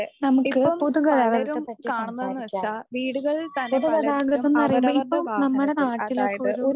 നമുക്ക് പൊതുഗതാഗതത്തെ പറ്റി സംസാരിക്കാം. പൊതുഗതാഗതംന്ന് പറയുമ്പോൾ ഇപ്പം നമ്മുടെ നാട്ടിലൊക്കെ ഒരു